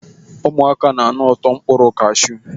Ụmụaka na-anụ ụtọ mkpụrụ kashụ.